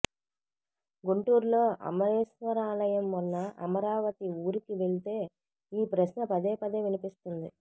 గుంటూరులో అమరేశ్వరాలయం ఉన్న అమరావతి ఊరికి వెళ్తే ఈ ప్రశ్న పదేపదే వినిపిస్తుంది